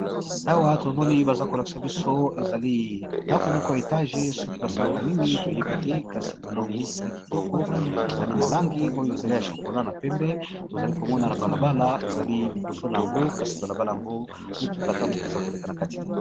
Awa tomoni baza kolakisa biso ezali ndako moko ya etage soki basalaka nini toyebi te kasi tomoni ezali kitoko, ezali na langi oyo ezali ya chokola na pembe tozali komona na balabala, ezali liboso na yango kasi balabala yango mutuka ata moko eza koleka na kati te.